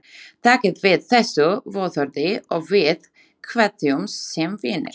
Takið við þessu vottorði og við kveðjumst sem vinir.